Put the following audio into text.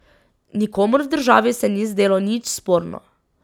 Nikomur v državi se ni zdelo nič sporno.